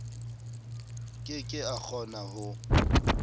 ke ke a kgona ho